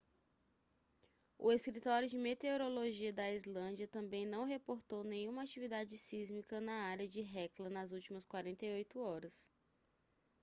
o escritório de meteorologia da islândia também não reportou nenhuma atividade sísmica na área de hekla nas últimas 48 horas